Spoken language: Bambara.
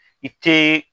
I te